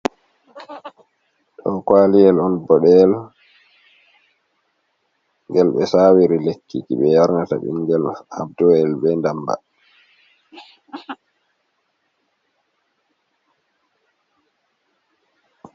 Ɗo kwaliyel on bode’el. Gel be sawiri lekkiji be yarnata bingel jab do’el be damba.